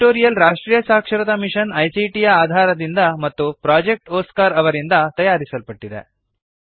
ಈ ಟ್ಯುಟೋರಿಯಲ್ ರಾಷ್ಟ್ರೀಯ ಸಾಕ್ಷರತಾ ಮಿಶನ್ ಐಸಿಟಿ ಯ ಆಧಾರದಿಂದ ಮತ್ತು ಪ್ರೊಜೆಕ್ಟ್ ಒಸ್ಕಾರ್ ಅವರಿಂದ ತಯಾರಿಸಲ್ಪಟ್ಟಿದೆ